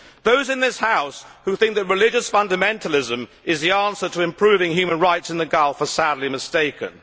Those in this House who think that religious fundamentalism is the answer to improving human rights in the Gulf are sadly mistaken.